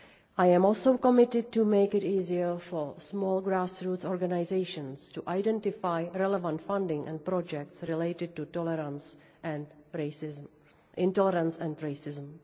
people I am also committed to making it easier for small grassroots organisations to identify relevant funding and projects related to intolerance and